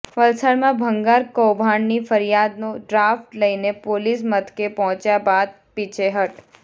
વલસાડમાં ભંગાર કૌભાંડની ફરિયાદનો ડ્રાફ્ટ લઇને પોલીસ મથકે પહોંચ્યા બાદ પીછેહઠ